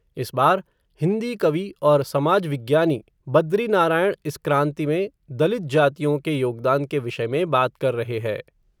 इस बार, हिन्दी कवि और समाज विज्ञानी, बद्री नारायण, इसी क्रांति में, दलित जातियों के योगदान के विषय में बात कर रहे है